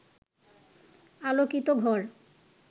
আলোকিত ঘর